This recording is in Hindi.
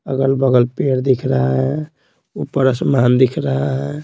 अगल-बगल पेड़ दिख रहा है ऊपर आसमान दिख रहा है।